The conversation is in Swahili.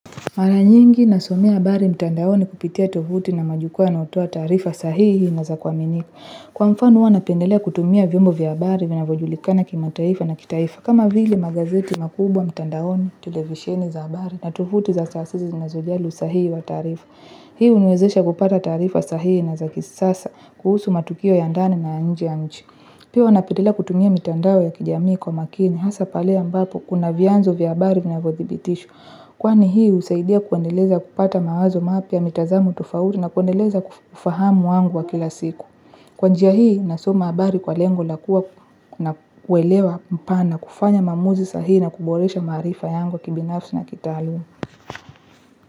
Mara nyingi nasomea habari mtandaoni kupitia tovuti na majukua wanaotoa taarifa sahihi na za kwaminika. Kwa mfano huwa napendelea kutumia vyombo vya habari vinavojulikana kimataifa na kitaifa. Kama vile magazeti makubwa mtandaoni, tulevisheni za habari na tovuti za sasa zina zojali sahihi wa taarifa. Hii huniwezesha kupata taarifa sahihi na za kisasa kuhusu matukio ya ndani na nje ya nchi. Pia huwa napendelea kutumia mitandao ya kijamii kwa makini hasa pale a mbapo kuna vianzo vya habari vina vojibitishwa. Kwani hii husaidia kuandeleza kupata mawazo mapya mitazamo tofauti na kuendeleza kufahamu wangu wa kila siku. Kwa njia hii nasoma habari kwa lengo lakua na kuelewa mpana kufanya maumuzi sahihi na kuboresha maarifa yangu kibinafsi na kitaalum.